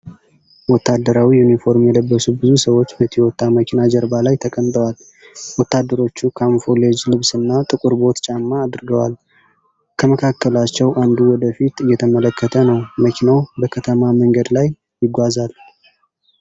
ወታደራዊ ዩኒፎርም የለበሱ ብዙ ሰዎች በቶዮታ መኪና ጀርባ ላይ ተቀምጠዋል። ወታደሮቹ ካሞፍላጅ ልብስና ጥቁር ቦት ጫማ አድርገዋል። ከመካከላቸው አንዱ ወደ ፊት እየተመለከተ ነው። መኪናው በከተማ መንገድ ላይ ይጓዛል።